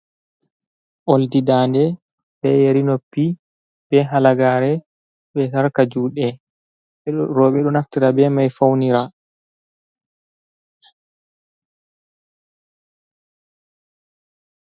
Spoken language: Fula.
Boldi dade, be yari noppi, be halagare, be sarka juɗe, robe ɗo naftira be mai faunira.